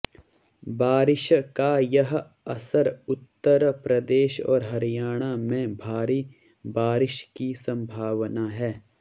बारिश का यह असर उत्तर प्रदेश और हरियाणा में भारी बारिश की संभावना है